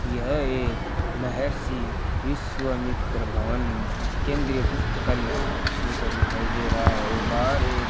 यह एक महर्षि विश्वामित्र भवन केंद्रीय पुस्तकालय जैसा दिखाई दे रहा है और बाहर एक --